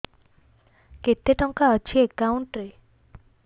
କେତେ ଟଙ୍କା ଅଛି ଏକାଉଣ୍ଟ୍ ରେ